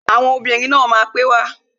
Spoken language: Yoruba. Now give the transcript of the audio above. Àwọn ẹgbẹ́ obìnrin náà máa pè wá